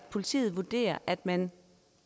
politiet vurderer at man